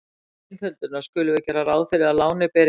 Til einföldunar skulum við gera ráð fyrir að lánið beri enga vexti.